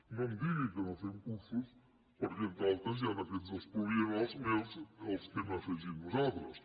no em digui que no fem cursos perquè entre altres hi han aquests dels pluriennals més els que hem afegit nosaltres